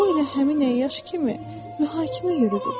O elə həmin əyyaş kimi mühakimə yürüdürdü.